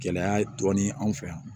Gɛlɛya dɔɔnin ye anw fɛ yan